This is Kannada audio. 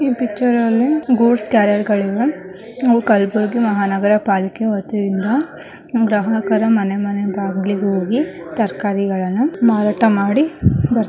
ಈ ಪಿಕ್ಚರ್ ಅಲ್ಲಿ ಗೂಡ್ಸ್ ಕ್ಯಾರಿಯ ರ್ಗಳು ಇವೆ ಇವು ಕಲ್ಬುರ್ಗಿ ಮಹಾನಗರ ಪಾಲಿಕೆ ವತಿಯಿಂದ ಗ್ರಾಹಕರ ಮನೆ ಮನೆ ಬಾಗಿಲಿಗೆ ಹೋಗಿ ತರಕಾರಿಗಳನ್ನು ಮಾರಾಟ ಮಾಡಿ ಬರ್ತ --